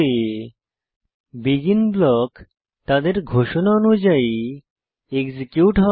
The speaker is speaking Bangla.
এখানে বেগিন ব্লক তাদের ঘোষণা অনুযায়ী এক্সিকিউট হয়